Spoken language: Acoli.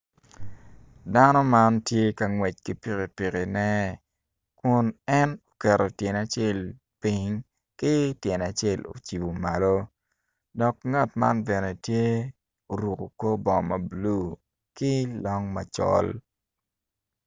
Dano man tye ka ngwec ki pikipikine kun en oketo tyene acel ping ki tyene acel ocibu malo dok ngat man bene tye oruku kor bongo ma bulu kilong macol